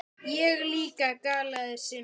Ég líka galaði Simmi.